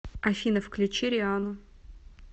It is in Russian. афина включи риану